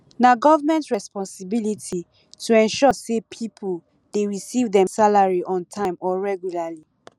na government responsibility to ensure say people dey receive dem salary on time or regularly